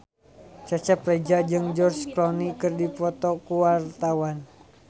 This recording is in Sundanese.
Cecep Reza jeung George Clooney keur dipoto ku wartawan